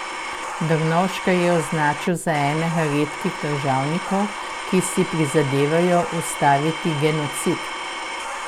Drnovška je označil za enega redkih državnikov, ki si prizadevajo ustaviti genocid.